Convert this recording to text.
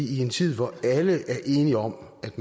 i en tid hvor alle er enige om at